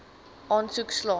aansoek slaag